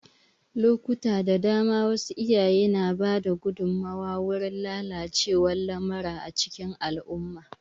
Lokuta da dama, wasu iyaye na ba da gudunmawa gurin lalacewar lamura a cikin al'umma.